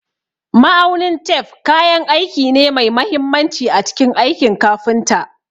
Ma'aunin tef kayan aiki ne mai mahimmanci a cikin aikin kafinta.